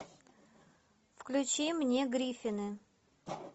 включи мне гриффины